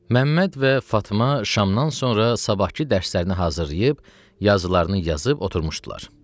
Məmməd və Fatma şamdan sonra sabahkı dərslərini hazırlayıb, yazılarını yazıb oturmuşdular.